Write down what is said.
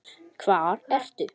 Hvar ertu?